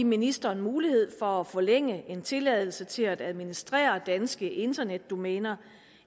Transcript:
ministeren mulighed for at forlænge en tilladelse til at administrere danske internetdomæner